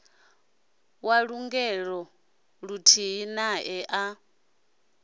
wa lugennge luthihi nae a